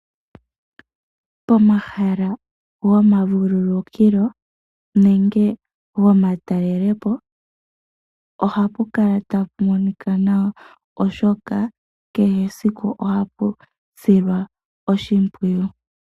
Pomahala goma vululukilo nenge goma talelepo ohapu kala tapu monika nawa oshoka kehe esiku ohapu silwa oshimpwiyu.